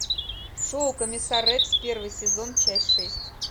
шоу комиссар рекс первый сезон часть шесть